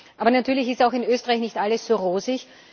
Aber natürlich ist in Österreich auch nicht alles so rosig.